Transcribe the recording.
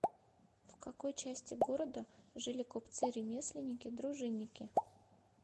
в какой части города жили купцы ремесленники дружинники